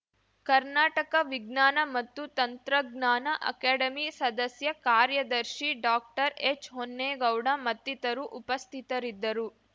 ಕರ್ನಾಟಕ ವಿಜ್ಞಾನ ಮತ್ತು ತಂತ್ರಜ್ಞಾನ ಅಕಾಡೆಮಿ ಸದಸ್ಯ ಕಾರ್ಯದರ್ಶಿ ಡಾಕ್ಟರ್ಎಚ್‌ಹೊನ್ನೇಗೌಡ ಮತ್ತಿತರು ಉಪಸ್ಥಿತರಿದ್ದರು